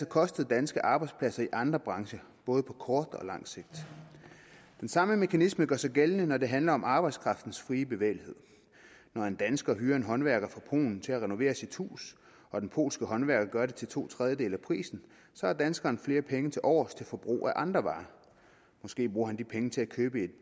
kostet danske arbejdspladser i andre brancher både på kort og langt sigt den samme mekanisme gør sig gældende når det handler om arbejdskraftens frie bevægelighed når en dansker hyrer en håndværker fra polen til at renovere sit hus og den polske håndværker gør det til to tredjedele af prisen har danskeren flere penge tilovers til forbrug af andre varer måske bruger han de penge til at købe et